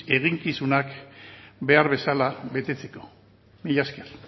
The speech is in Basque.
eginkizunak behar bezala betetzeko mila esker